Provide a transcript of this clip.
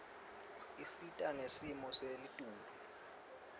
isita ngesimo selitulu